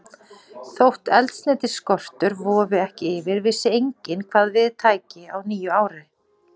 Þótt eldsneytisskortur vofði ekki yfir, vissi enginn, hvað við tæki á nýju ári.